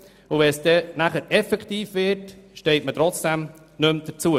Aber wenn es dann um die Umsetzung geht, steht man auf einmal nicht mehr dazu.